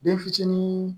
Den fitinin